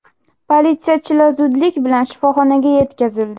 Politsiyachilar zudlik bilan shifoxonaga yetkazildi.